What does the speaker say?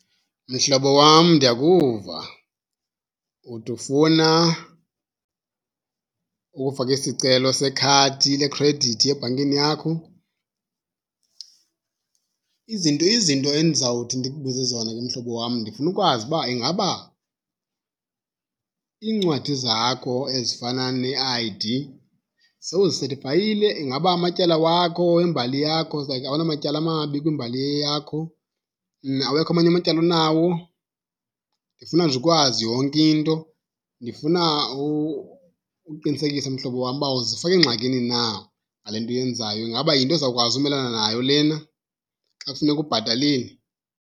Mhlobo wam, ndiyakuva. Uthi ufuna ukufaka isicelo sekhadi lekhredithi ebhankeni yakho. Izinto izinto endizawuthi ndikubuze zona ke mhlobo wam, ndifuna ukwazi uba ingaba iincwadi zakho ezifana ne-I_D sowuzisethifayile? Ingaba amatyala wakho, imbali yakho awunamatyala amabi kwimbali eyeyakho? Awekho amanye amatyala onawo? Ndifuna nje ukwazi yonke into. Ndifuna ukuqinisekisa, mhlobo wam, uba awuzifaki engxakini na ngale nto uyenzayo. Ingaba yinto ozawukwazi umelana nayo lena xa kufuneka ubhatalile?